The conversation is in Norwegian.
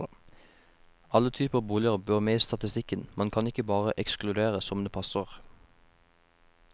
Alle typer boliger bør med i statistikken, man kan ikke bare ekskludere som det passer.